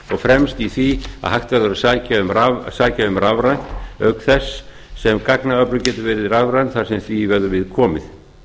fremst í því að hægt verður að sækja um rafrænt auk þess sem gagnaöflun getur verið rafræn þar sem því verður við komið